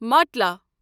ماٹلا